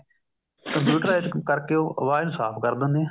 computerize ਕਰਕੇ ਉਹ ਆਵਾਜ ਨੂੰ ਸਾਫ਼ ਕਰ ਦਿੰਨੇ